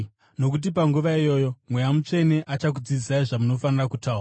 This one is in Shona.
nokuti panguva iyoyo Mweya Mutsvene achakudzidzisai zvamunofanira kutaura.”